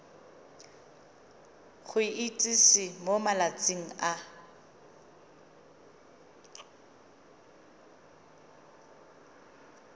go itsise mo malatsing a